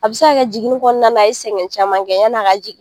A bɛ se ka jiginnin kɔnɔna na la, a ye sɛgɛn caman kɛ ya ni a ka jigin.